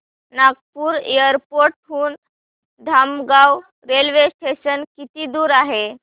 Nagpur airport हून Dhamangaon railway station किती दूर आहे